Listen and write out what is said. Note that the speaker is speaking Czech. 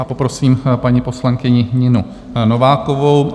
A poprosím paní poslankyni Ninu Novákovou.